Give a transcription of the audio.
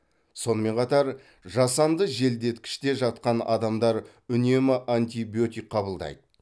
сонымен қатар жасанды желдеткіште жатқан адамдар үнемі антибиотик қабылдайды